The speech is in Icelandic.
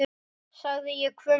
sagði ég hvumsa.